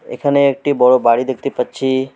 এখানে একটি বড়ো বাড়ি দেখতে পাচ্ছি।